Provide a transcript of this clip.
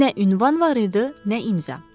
Nə ünvan var idi, nə imza.